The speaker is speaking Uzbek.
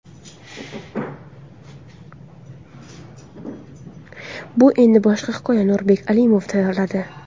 Bu endi boshqa hikoya... Nurbek Alimov tayyorladi.